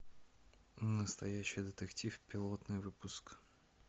настоящий детектив пилотный выпуск